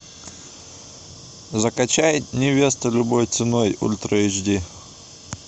закачай невеста любой ценой ультра эйч ди